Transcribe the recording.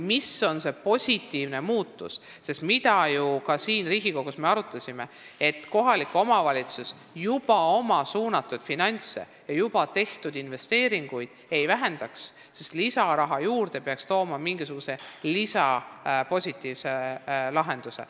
Me oleme ka siin Riigikogus arutanud, et kohalik omavalitsus oma suunatud finantse ja juba tehtud investeeringuid ei vähendaks, sest lisaraha peaks tooma ka mingisuguse positiivse lahenduse.